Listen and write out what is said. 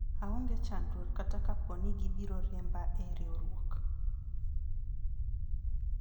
aonge chandruok kata kapo ni gibiro riemba e riwruok